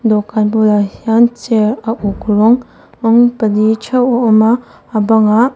dawhkan bulah hian chair a uk rawng rawng pahnih theuh a awm a a banga --